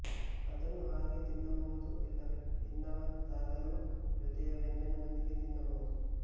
ಅದನ್ನು ಹಾಗೆಯೇ ತಿನ್ನಬಹುದು ಇಲ್ಲವೆ ಇನ್ನಾವದಾದರೂ ಜೊತೆಯ ವ್ಯಂಜನದೊಂದಿಗೆ ತಿನ್ನಬಹುದು